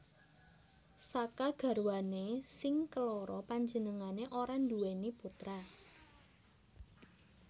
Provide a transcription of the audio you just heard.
Saka garwané sing keloro panjenengané ora nduwèni putra